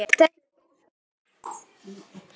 Það er góðra gjalda vert.